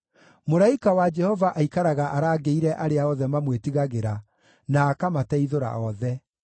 Mũraika wa Jehova aikaraga arangĩire arĩa othe mamwĩtigagĩra, na akamateithũra othe.